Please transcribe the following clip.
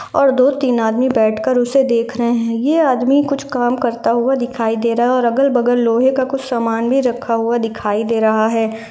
और दो तीन आदमी बेठकर उसे देख रहे हैं। ये आदमी कुछ काम करता हुआ दिखाई दे रहा है और अगल बगल लोहे का कुछ समान भी रखा हुआ दिखाई दे रहा है।